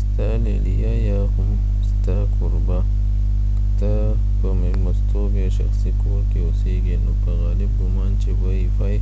ستا لیلیه یا هم ستا کوربه که ته په میلمستون یا شخصی کور کې اوسیږی نو په غالب ګمان چې وای فای